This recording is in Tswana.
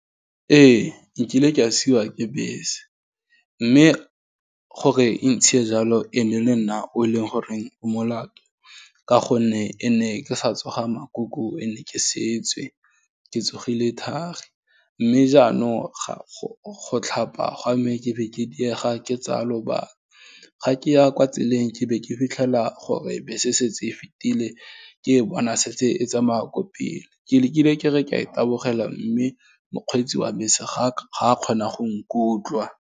Ee, nkile ke a siwa ke bese, mme gore e ntshie jalo, e ne le nna o e leng gore, o molato ka gonne e ne ke sa tsoga ka makuku, e nne ke setswe, ke tsogile thari, mme jaanong go tlhapa gwa me, ke be ke diega, ke tsaya lobaka, ga ke ya kwa tseleng ke be ke fitlhela gore bese e setse e fetile, ke e bona setse e tsamaya kwa pele, ke lekile ke re ka e tabogela, mme mokgweetsi wa bese, ga kgona go nkutlwa.